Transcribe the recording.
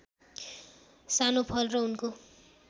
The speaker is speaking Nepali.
सानो फल र उनको